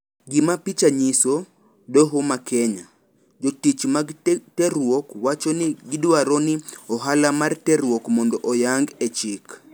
Gima picha nyiso, doho ma Kenya. Jotich mag terruok wacho ni gidwaro ni ohala mar terruok mondo oyang e chike.